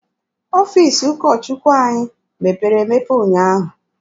Ọfiisi ụkọ Chukwu anyị mepere emepe ụnyaahụ.